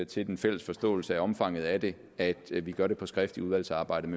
til den fælles forståelse af omfanget af det at vi gør det på skrift i udvalgsarbejdet